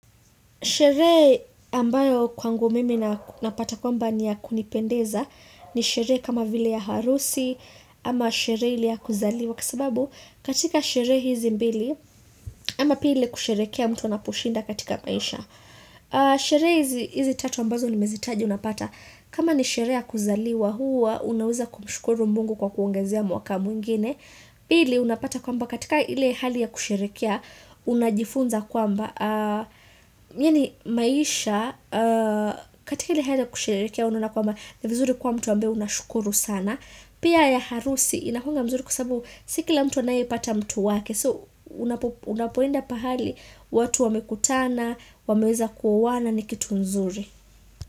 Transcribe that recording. Sheree ambayo kwangu mimi napata kwamba ni ya kunipendeza ni shere kama vile ya harusi ama shere ile ya kuzaliwa kwa sababu katika sheree hizi mbili ama pia ile kusherekea mtu anaposhinda katika maisha. Sheree hizi hizi tatu ambazo nimezitaja unapata kama ni sheree ya kuzaliwa huwa Unaweza kumshukuru Mungu kwa kuongezea mwaka mwingine Pili unapata kwamba katika ile hali ya kusherekea Unajifunza kwamba a myeni maisha katika ile hali ya kusherekea unaonakwamba ni vizuri kuwa mtu ambae unashukuru sana Pia ya harusi inakuanga mzuri kusabu Siki la mtu anayepata mtu wake So unapo unapoenda pahali watu wamekutana wameweza kuoana ni kitu nzuri.